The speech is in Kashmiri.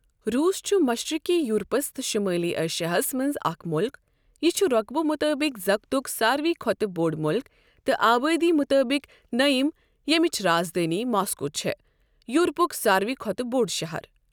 روٗس چھُ مَشرِقی یوٗرپَس تہٕ شُمٲلی ایشیاہَس مَنٛز اَکھ مُلُک۔ یہِ چھُ رۄقبہٕ مُطٲبِق زَگتُک سارِوٕے کھۄتہٕ بۆڈ مُلُکھ تہٕ آبٲدی مُطٲبِق نٔیِم ییمِچ راز دٲنؠ ماسکو چھےٚ۔ یوٗرپُک سارِوٕے کھۄتہٕ بۆڈ شَہَر۔